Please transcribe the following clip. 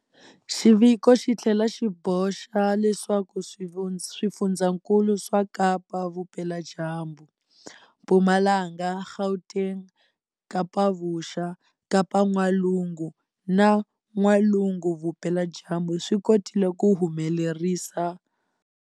Xiviko xi tlhela xi boxa leswaku swifundzankulu swa Kapa-Vupeladyambu, Mpumalanga, Gauteng, Kapa-Vuxa, Kapa-N'walungu na N'walugu-Vupeladyambu swi kotile ku humelerisa.